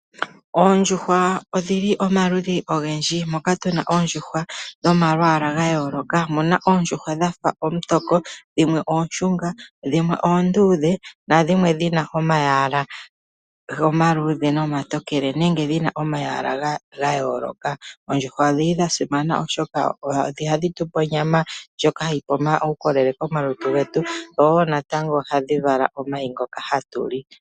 Oondjuhwa odhili omaludhi ogendji moka tuna oondjuhwa dhomalwaala ga yooloka omuna oondjuhwa dhafa omutoko, dhimwe ooshunga, dhimwe oonduudhe nadhimwe dhina omayala omaluudhe nomatokele nenge dhina omayala ga yooloka. Oondjuhwa odhili dha simana oshoka ohadhi tupe onyama ndjoka hayi tupe omaukolele komalutu getu woo natango ohadhi vala omayi ngoka hatu li.